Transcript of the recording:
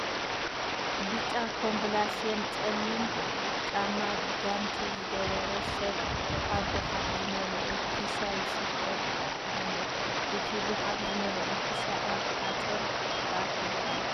ብጫ ኮምብላስየን ፀሊም ጫማ፤ ጋንቲ ዝገበረ ሰብ ኣብ ጉሓፍ ዝመለአ ኪሻ ይስብስብ ኣሎ ። እቲ ጉሓፍ ዝመለአ ኪሻ ኣብ ሓፁር ተኣኪቡ ኣሎ ።